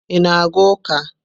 Ị na-aga ụka?